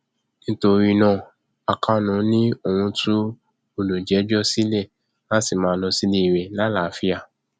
nítorí náà akànó ni òun tú olùjẹjọ sílẹ láti máa lọ sílé rẹ lálàáfíà